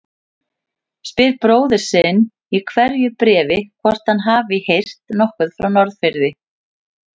Spyr bróður sinn í hverju bréfi hvort hann hafi heyrt nokkuð frá Norðfirði.